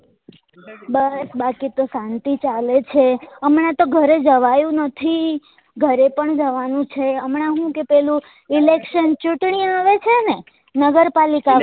બસ બાકી તો સાંતી ચાલે છે હમણા તો ઘરે જવાયું નથી ઘરે પણ જવા નું છે હમણા હું કે પેલું election ચૂંટણી આવે છે ને નગરપાલિકા વાળી